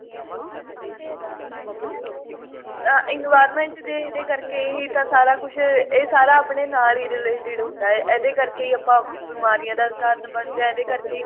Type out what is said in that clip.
ਹਾਂਜੀ ah environment ਦੇ ਇਹਦੇ ਕਰਕੇ ਹੀ ਤਾਂ ਸਾਰਾ ਕੁੱਝ ਇਹ ਸਾਰਾ ਆਪਣੇ ਨਾਲ ਹੀ related ਹੁੰਦਾ ਹੈ ਇਹਦੇ ਕਰਕੇ